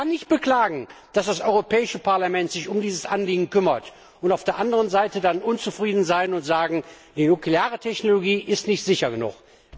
Ich kann nicht beklagen, dass das Europäische Parlament sich um dieses Anliegen kümmert, und auf der anderen Seite dann unzufrieden sein und sagen, die nukleare Technologie ist nicht sicher genug.